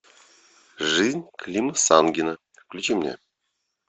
жизнь клима самгина включи мне